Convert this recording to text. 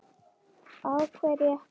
Á hverju ætlarðu að lifa?